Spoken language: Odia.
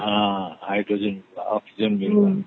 oxygen ବି ମିଳିବ